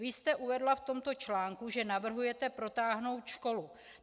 Vy jste uvedla v tomto článku, že navrhujete protáhnout školu.